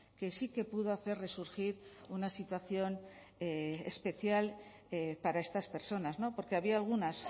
que sí que pudo hacer resurgir una situación especial para estas personas porque había algunas